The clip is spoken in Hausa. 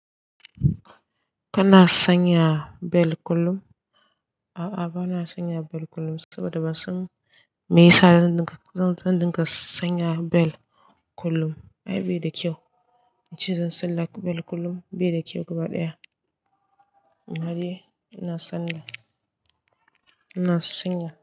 Kana sanya bel kullum? A'a bana sanya bel kullum, saboda ban san me yasa zan dinka sanya bel kullum. Ai bai da kyau, in ce zan salla bel kullum bai da kyau gaba ɗaya. Amma de ina sanya, ina sanya.